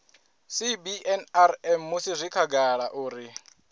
cbnrm musi zwi khagala uri